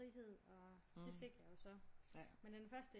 Frihed og det fik jeg jo så men den første